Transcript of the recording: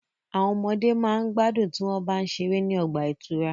Àwọn ọmọde ma gbádùn tí wọ́n bá ń ṣeré ní ọgbà ìtura.